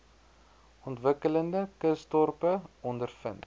ontwikkelende kusdorpe ondervind